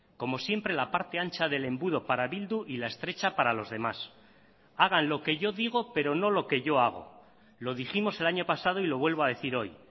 como siempre la parte ancha del embudo para bildu y la estrecha para los demás hagan lo que yo digo pero no lo que yo hago lo dijimos el año pasado y lo vuelvo a decir hoy